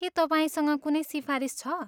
के तपाईँसँग कुनै सिफारिस छ?